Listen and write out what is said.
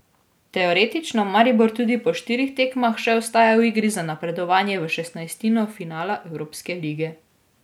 Teoretično Maribor tudi po štirih tekmah še ostaja v igri za napredovanje v šestnajstino finala evropske lige.